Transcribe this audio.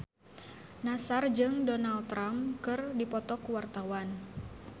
Nassar jeung Donald Trump keur dipoto ku wartawan